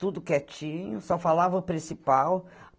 Tudo quietinho, só falava o principal.